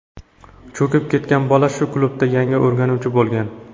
Cho‘kib ketgan bola shu klubda yangi o‘rganuvchi bo‘lgan.